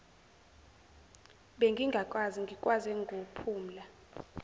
bengingakwazi ngikwaze ngophumla